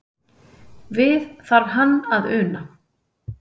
Við þarf hann að una.